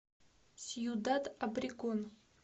сьюдад обрегон